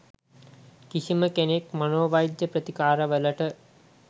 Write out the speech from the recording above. කිසිම කෙනෙක් මනෝවෛද්‍ය ප්‍රතිකාර වලට